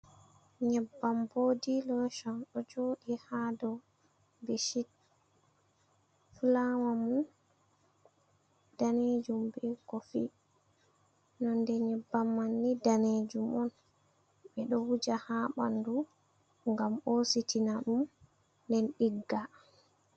Nyebbam bodi loshon ɗo joɗi ha dow bechit fulawa mai danejum be kofi. Nonde nyebbam mai ni danejum on. Ɓe ɗo wuja ha ɓandu ngam hositina ɗum nden ɗigga.